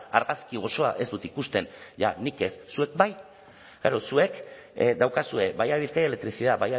argazki osoa ez dut ikusten ja nik ez zuek bai klaro zuek daukazue vaya a bizkaia electricidad